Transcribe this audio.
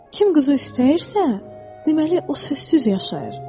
Kim quzu istəyirsə, deməli o sözsüz yaşayır.